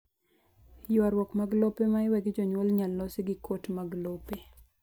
Ywaruok mag lope ma iwe gi jonyuol inyal losi gi kot mag lope